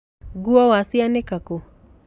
Nguo wacianĩka kũ?